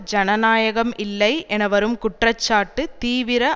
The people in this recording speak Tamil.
ஜனநாயகம் இல்லை என வரும் குற்ற சாட்டு தீவிர